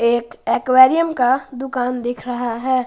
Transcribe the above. एक एक्वेरियम का दुकान दिख रहा है।